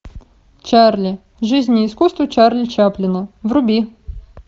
чарли жизнь и искусство чарли чаплина вруби